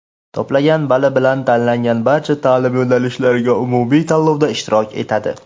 to‘plagan bali bilan tanlangan barcha taʼlim yo‘nalishlariga umumiy tanlovda ishtirok etadi.